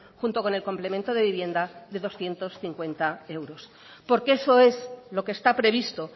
junto con el complemento de vivienda de doscientos cincuenta euros porque eso es lo que está previsto